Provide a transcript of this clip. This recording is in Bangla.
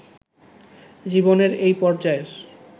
জীবনের এই পর্যায়ের